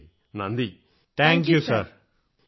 എല്ലാ എൻസിസി കേഡറ്റുകളും വളരെ വളരെ നന്ദി സർ താങ്ക്യൂ